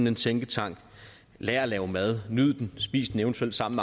en tænketank lær at lave mad nyd den spis den eventuelt sammen